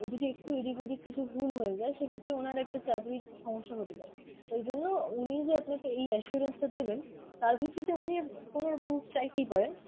ও যদি একটু এদিক ওদিক কিছু ভুল হয়ে যায় সে ক্ষেত্রে ওনার একটা চাকরির সমস্যা হতে পারে ওই জন্য উনিই যে আপনাকে এই assurance টা দেবেন তার ভিত্তিতে উনি কোন proof চাইতেই পারেন